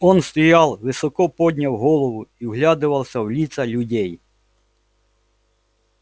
он стоял высоко подняв голову и вглядывался в лица людей